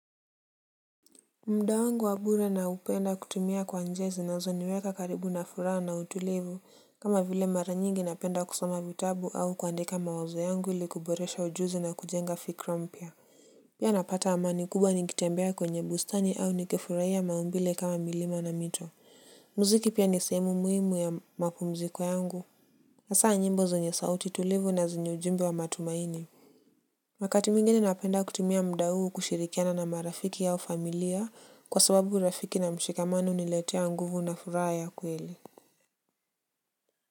Muda wangu wa bure na upenda kutumia kwa njia zinazo niweka karibu na furaha na utulivu kama vile mara nyingi napenda kusoma vitabu au kuandika mawazo yangu ilikuboresha ujuzi na kujenga fikra mpya. Pia napata amani kubwa nikitembea kwenye bustani au nikifurahia maumbile kama milima na mito. Muziki pia nisehemu muhimu ya mapumziko yangu hasa nyimbo zenye sauti tulivu na zenye ujumbe wa matumaini wakati mwingine napenda kutumia muda huu kushirikiana na marafiki au familia kwa sababu rafiki na mshikamano huniiletea nguvu na furaha ya kweli.